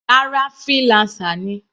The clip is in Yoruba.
Rárá, freelancer ni.